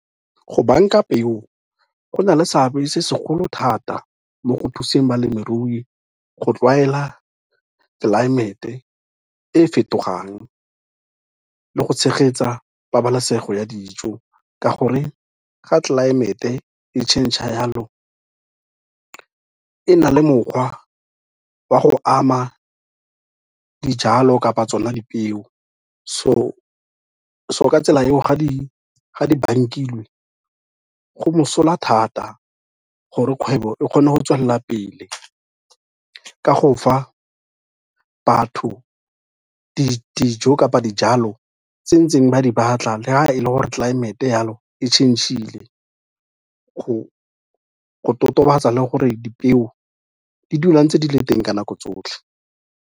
Go bank-a peo, go na le seabe se segolo thata mo go thuseng balemirui go tlwaela tlelaemete e fetogang le go tshegetsa pabalesego ya dijo ka gore ga tlelaemete e change-a yalo, e na le mokgwa wa go ama dijalo kapa tsona dipeo so ka tsela eo ga di bankilwe go mosola thata gore kgwebo e kgone go tswelela pele ka go fa batho dijo kapa dijalo tse ntseng ba di batla, le ha e le gore tlelaemete yalo e changile, go totobatsa le gore dipeo di dula ntse di le teng ka nako tsotlhe.